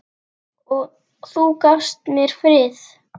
Og þú gafst mér frið.